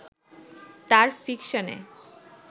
তার ফিকশনে